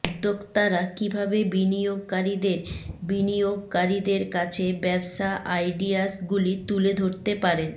উদ্যোক্তারা কীভাবে বিনিয়োগকারীদের বিনিয়োগকারীদের কাছে ব্যবসা আইডিয়াসগুলি তুলে ধরতে পারেন